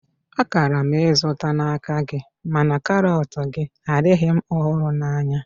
A kara m izụta n'aka gị mana karọt gị adịghị ọhụrụ na anya